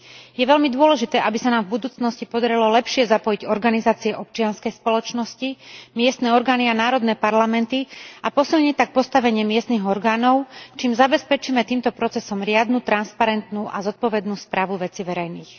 Je veľmi dôležité, aby sa nám v budúcnosti podarilo lepšie zapojiť organizácie občianskej spoločnosti, miestne orgány a národné parlamenty a posilniť tak postavenie miestnych orgánov, čím zabezpečíme týmto procesom riadnu transparentnú a zodpovednú správu vecí verejných.